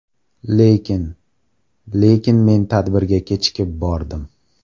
Lekin… Lekin men tadbirga kechikib bordim.